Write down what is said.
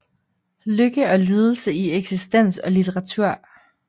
Lykke og lidelse i eksistens og litteratur